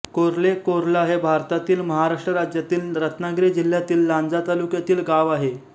कोर्ले कोर्ला हे भारतातील महाराष्ट्र राज्यातील रत्नागिरी जिल्ह्यातील लांजा तालुक्यातील गाव आहे